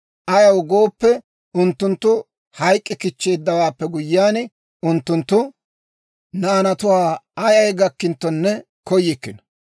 Ayaw gooppe, unttunttu hayk'k'i kichcheeddawaappe guyyiyaan, unttunttu naanatuwaa ayay gakkinttonne koyikkino.